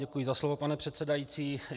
Děkuji za slovo, pane předsedající.